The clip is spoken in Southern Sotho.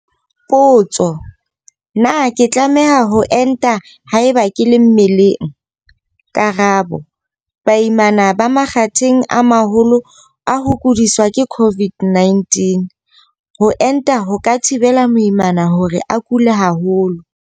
Potso - Na ke tlameha ho enta haeba ke le mmeleng? Karabo - Baimana ba makgatheng a maholo a ho kudiswa ke COVID-19. Ho enta ho ka thibela moimana hore a kule haholo.